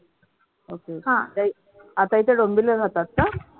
okay आता इथे डोंबिवली ला राहतात का?